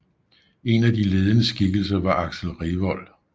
En af de ledende skikkelser var Axel Revold